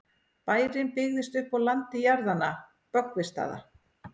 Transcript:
bærinn byggðist upp á landi jarðanna böggvisstaða